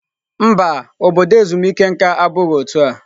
Mba, obodo ezumike nka abụghị otu a.